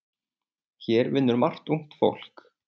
Hér vinnur margt ungt fólk.